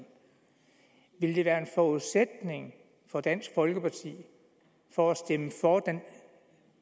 ville det være en forudsætning for dansk folkeparti for at stemme for